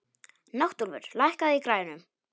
Náttúlfur, lækkaðu í græjunum.